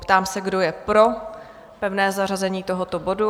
Ptám se, kdo je pro pevné zařazení tohoto bodu?